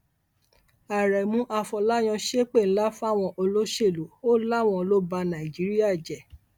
aremu afọláyàn ṣépè ńlá fáwọn olóṣèlú ò láwọn lọ ba nàìjíríà jẹ